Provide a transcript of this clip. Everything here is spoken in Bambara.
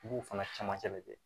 I b'o fana camancɛ de kɛ